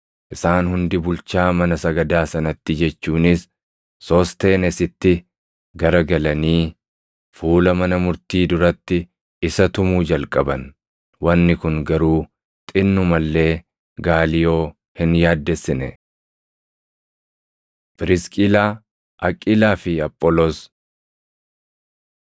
Isaan hundi bulchaa mana sagadaa sanatti jechuunis Soosteenesitti garagalanii fuula mana murtii duratti isa tumuu jalqaban. Wanni kun garuu xinnuma illee Gaaliyoo hin yaaddessine. Phirisqilaa, Aqiilaa fi Apholoos